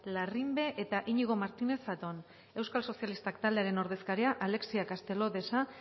larrimbe eta iñigo martínez zatón euskal sozialistak taldearen ordezkariak alexia castelo de sa